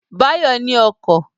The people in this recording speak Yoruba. Báyọ̀ ní ọkọ̀